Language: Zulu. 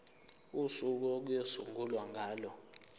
usuku okuyosungulwa ngalo